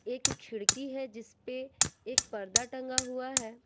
एक खिड़की है जिसपे एक पर्दा टंगा हुआ है।